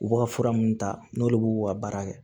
U b'u ka fura minnu ta n'olu b'u ka baara kɛ